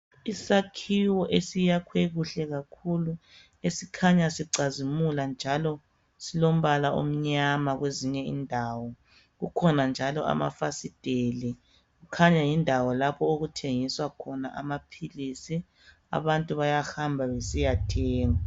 Isakhiwo esiyakhwe kuhle kakhulu esikhanya sicazimula njalo silombala omnyama kwezinye indawo. Kukhona njalo amafasiteli, kukhanya yindawo lapho okuthengiswa khona amaphilisi. Abantu bayahamba besiyathenga.